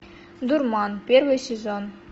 дурман первый сезон